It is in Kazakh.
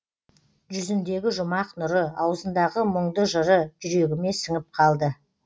жүзіндегі жұмақ нұры аузындағы мұңды жыры жүрегіме сіңіп қалды